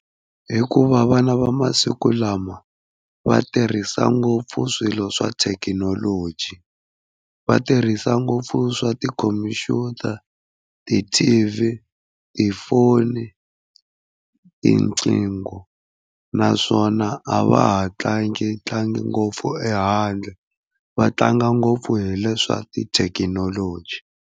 Hikuva vana va masiku lama va tirhisa ngopfu swilo swa thekinoloji, va tirhisa ngopfu swa tikhompyuta, ti-T_V, tifoni, tinqingho naswona a va ha tlangi tlangi ngopfu ehandle va tlanga ngopfu hi leswa tithekinoloji.